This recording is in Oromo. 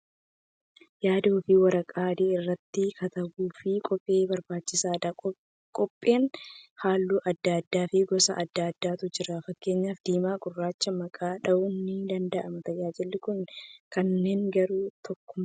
Yaad ofii waraqaa adii irratti katabuuf kobbee barbaachisaadha. Kobbeen halluu adda addaa fi gosa adda addaatu jira. Fakkeenyaaf dimaa fi gurraacha maqaa dha'uun ni danda'ama. Tajaajilli isaan kennan garuu tokkuma.